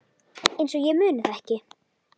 Einsog ég muni það ekki!